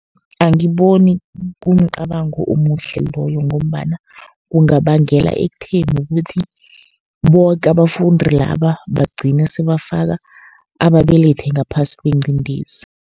Angiboni kumcabango omuhle loyo, ngombana kungabangela ekutheni kuthi boke abafundi laba bagcine sebafaka ababelethi ngaphasi kwengcindezi.